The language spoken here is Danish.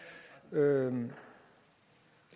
lavet den